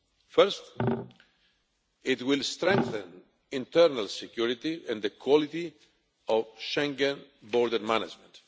First, it will strengthen internal security and the quality of Schengen border management.